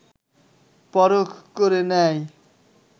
পরখ করে নেয়